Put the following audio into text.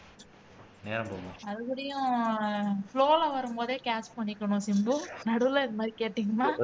அதுகூடையும் flow ல வரும்போதே catch பண்ணிக்கணும் சிம்பு நடுவுல இந்த மாதிரி கேட்டீங்கன்னா